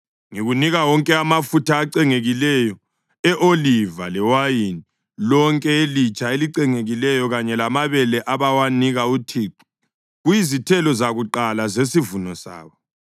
Ngikunika wonke amafutha acengekileyo e-oliva lewayini lonke elitsha elicengekileyo kanye lamabele abawanika uThixo kuyizithelo zakuqala zesivuno sabo.